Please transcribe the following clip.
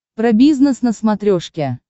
про бизнес на смотрешке